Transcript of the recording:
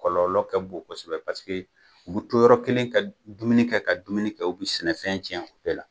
Kɔlɔlɔ ka bon kosɛbɛ u bɛ to yɔrɔ kelen ka dumuni kɛ ka dumuni kɛ u bɛ sɛnɛfɛn tiɲɛ o bɛɛ la